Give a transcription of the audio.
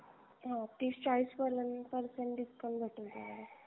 हो तीस चाळीस पर्यन्त percent discount भेटून जाणार आहे